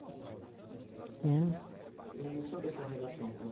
Né. E sobre a sua relação com os